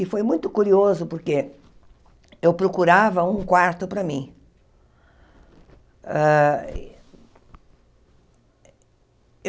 E foi muito curioso porque eu procurava um quarto para mim. Ah